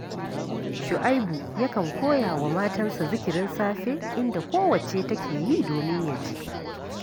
Shu’aibu yakan koya wa matansa zikirin safe, inda kowacce take yi domin ya ji